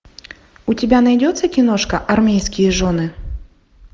у тебя найдется киношка армейские жены